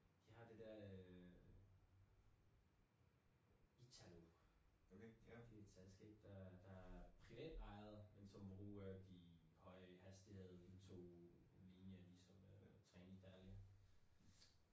De har det der øh Italo det et selskab der der er privatejet men som bruger de høj hastighed tog linje ligesom øh Trenitalia